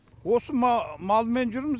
осы малмен жүрміз